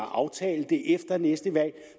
aftale efter næste valg